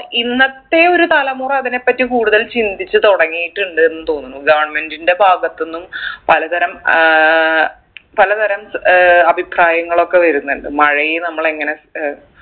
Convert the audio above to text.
ഇന്നത്തെ ഒരു തലമുറ അതിനെ പറ്റി കൂടുതൽ ചിന്തിച്ച് തുടങ്ങിയിട്ടുണ്ട് ന്ന് തോന്നുന്നു government ന്റെ ഭാഗത്തിന്നും പലതരം ഏർ പലതരം ഏർ അഭിപ്രായങ്ങളൊക്കെ വരുന്നുണ്ട് മഴയെ നമ്മൾ എങ്ങനെ ഏർ